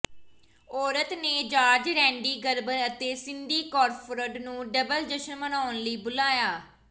ਔਰਤ ਨੇ George Randy Gerber ਅਤੇ ਸਿੰਡੀ ਕ੍ਰਾਫੋਰਡ ਨੂੰ ਡਬਲ ਜਸ਼ਨ ਮਨਾਉਣ ਲਈ ਬੁਲਾਇਆ